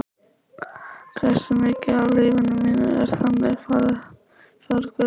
Hversu mikið af lífi mínu er þannig farið forgörðum?